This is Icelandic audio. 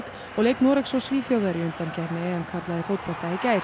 og leik Noregs og Svíþjóðar í undankeppni karla í fótbolta í gær